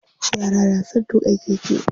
Yara na son tuƙa keke.